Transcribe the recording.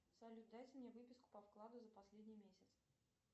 салют дайте мне выписку по вкладу за последний месяц